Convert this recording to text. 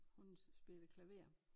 Hun spillede klaver